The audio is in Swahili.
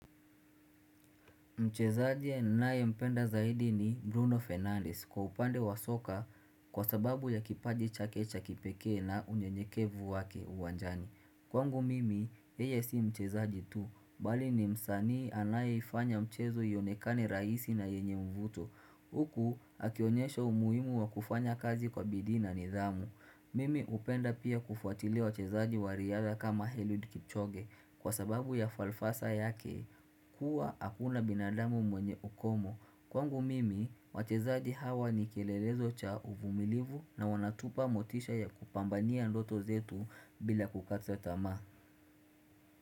Mchezaji nae mpenda zaidi ni Bruno Fernandes kwa upande wa soka kwa sababu ya kipaji chakecha kipeke na unye nyekevu wake uwanjani Kwangu mimi yeye si mchezaji tu bali ni msani anaye ifanya mchezo iyonekane raisi na yenye mvuto Huku akionyesha umuimu wa kufanya kazi kwa bidi na nidhamu Mimi upenda pia kufuatilia wachezaji wariadha kama Heliod Kipchoge kwa sababu ya falfasa yake kua akuna binadamu mwenye ukomo. Kwangu mimi, wachezaji hawa ni kielelezo cha uvumilivu na wanatupa motisha ya kupambania ndoto zetu bila kukata tamaa.